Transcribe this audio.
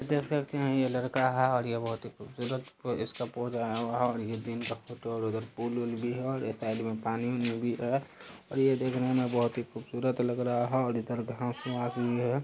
देख सकते हैं ये लड़का है और ये बहुत ही खूबसूरत इसका पोज है-हो- और ये दिन का फोटो है इधर पुल उल भी है और ऐ साइड में पानी ओनी भी है और ये देखने में बहुत ही खूबसूरत लग रहा है और इधर घांस वांस भी है।